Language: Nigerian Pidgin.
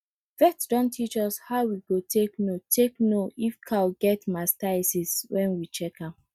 vet don teach us how we go take know take know if cow get mastitis when we check am